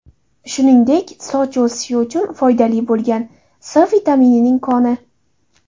Shuningdek, soch o‘sishi uchun foydali bo‘lgan C vitaminining koni.